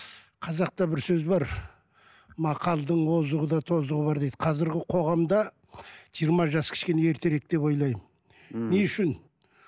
қазақта бір сөз бар мақалдың озығы да тозығы бар қазіргі қоғамда жиырма жас кішкене ертерек деп ойлаймын мхм не үшін